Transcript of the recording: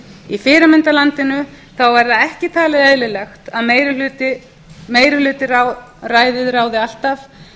í fyrirmyndarlandinu þá er það ekki talið eðlilegt að meirihlutaræðið ráði alltaf